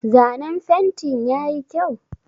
Zanen fentin yayi kyau?